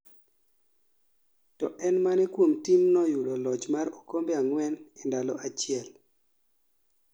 to eno en mane kuom timno yudo loch mar okombe ang'wen e ndalo achiel?